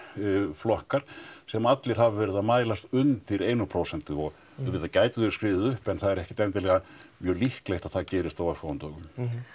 flokkar sem allir hafa verið að mælast undir einu prósenti og auðvitað gætu þeir skriðið upp en það er ekkert endilega mjög líklega að það gerist á örfáum dögum